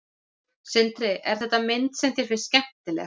Sindri: Er þetta mynd sem þér finnst skemmtileg?